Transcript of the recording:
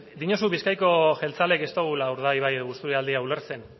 diozu bizkaiko jeltzaleek ez dugula urdaibai edo busturialdea ulertzen